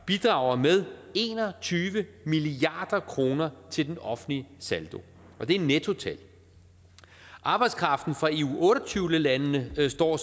bidrager med en og tyve milliard kroner til den offentlige saldo og det er nettotal arbejdskraften fra eu otte og tyve landene står